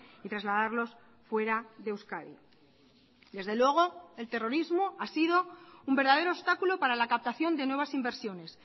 y trasladarlos fuera de euskadi desde luego el terrorismo ha sido un verdadero obstáculo para la captación de nuevas inversiones